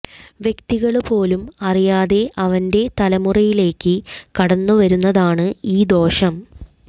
വ്യക്തികള് പോലും അറിയാതെ അവന്റെ തലമുറയിലേയ്ക്ക് കടന്നു വരുന്നതാണ് ഈ ദോഷം